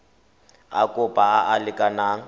a kopo a a lekaneng